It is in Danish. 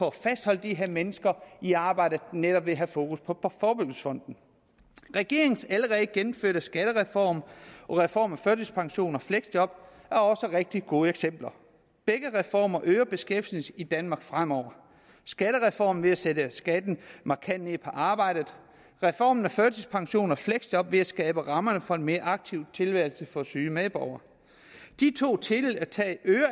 at fastholde de her mennesker i arbejde netop ved at have fokus på forebyggelsesfonden regeringens allerede gennemførte skattereform og reform af førtidspension og fleksjob er også rigtig gode eksempler begge reformer øger beskæftigelsen i danmark fremover skattereformen ved at sætte skatten markant ned på arbejde reformen af førtidspension og fleksjob ved at skabe rammerne for en mere aktiv tilværelse for syge medborgere de to tiltag